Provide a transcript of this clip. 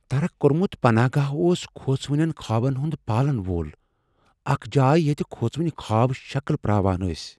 ترک كۄرمُت پناہ گاہ اوس كھوژونین خابن ہُند پالن وول ، اكھ جایہ ییتہِ كھوژوٕنہِ خواب شكل پر٘اوان ٲسۍ ۔